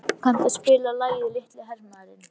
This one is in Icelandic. Örvar, kanntu að spila lagið „Litli hermaðurinn“?